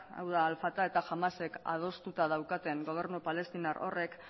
hau da al fatah eta hamasek adostuta daukaten gobernu palestinar horrek